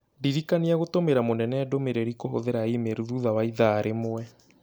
Ndirikania gũtũmĩra mũnene ndũmĩrĩri kũhũthĩra e-mail thutha wa ithaa rĩmwe.